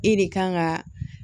E de kan ka